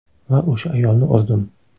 Va o‘sha ayolni urdim.